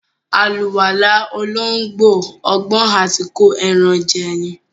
Àlùwàlá olóńgbò, ọgbọ́n àti kó ẹran jẹ ní.